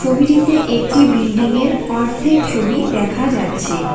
ছবিটিতে একটি বিল্ডিং -এর অর্ধেক ছবি দেখা যাচ্ছে।